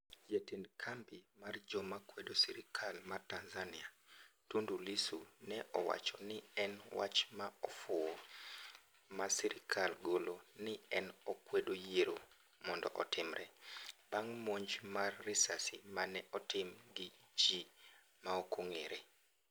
jatend kambi mar joma kwedo sirikal mar Tanzania, Tundu Lissu ne owacho ni en wach ma ofuwo ma sirikal golo ni en ogeng'o yiero mondo otimre bang monj mar risasi mane otim gi ji maokong'ere